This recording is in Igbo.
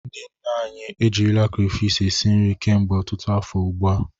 Ndị nne anyị ejirila krafish esi nri kemgbe ọtụtụ afọ ugbu a.